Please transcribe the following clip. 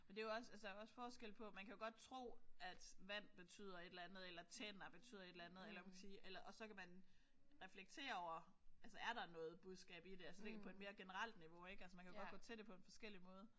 Men det jo også altså der er også forskel på man kan godt tro at vand betyder et eller andet eller tænder betyder et eller andet eller hvad kan man sige eller og så kan man reflektere over altså er der noget budskab i det altså tænker på mere generelt niveau ik. Altså man kan jo godt gå til det på en forskellig måde